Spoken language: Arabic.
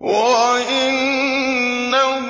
وَإِنَّهُ